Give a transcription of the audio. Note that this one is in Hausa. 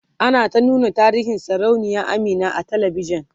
ana ta nuna tarihin sarauniya Amina a talavishan